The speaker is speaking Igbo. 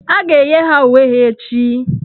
A ga-enye ha uwe ha echi.